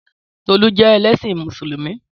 Tọlú jẹ́ ẹlẹ́ṣin Mùsùlùmí